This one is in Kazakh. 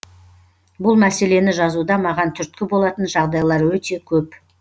бұл мәселені жазуда маған түрткі болатын жағдайлар өте көп